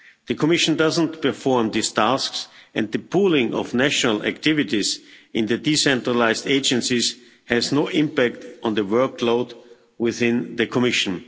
The Commission doesn't perform these tasks and the pooling of national activities in the decentralised agencies has no impact on the workload within the Commission.